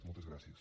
moltes gràcies